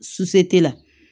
la